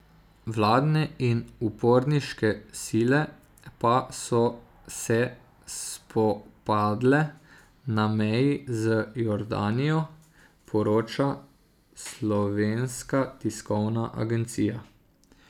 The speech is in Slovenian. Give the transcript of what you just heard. Vladne in uporniške sile pa so se spopadle na meji z Jordanijo, poroča Slovenska tiskovna agencija.